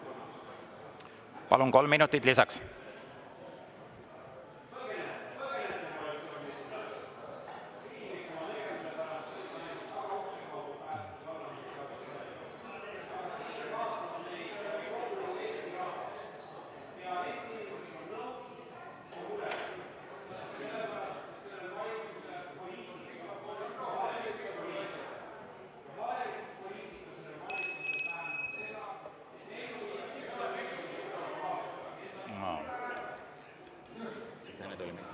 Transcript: Palun, kolm minutit lisaks!